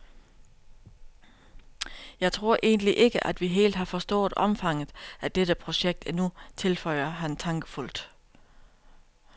Jeg tror egentlig ikke, at vi helt har forstået omfanget af dette projekt endnu, tilføjer han tankefuldt.